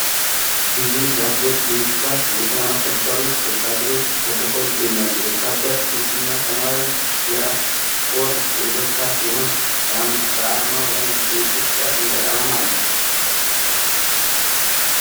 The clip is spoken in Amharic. ብዙ የተባበሩት መንግስታት የሰላም አስከባሪ ወታደሮች ተሰልፈው ይገኛሉ። የወታደር ልብስና ሰማያዊ የራስ ቁር የደፉ ሲሆን፣ በአርማው ላይ የኢትዮጵያ ሰንደቅ ዓላማ አለ።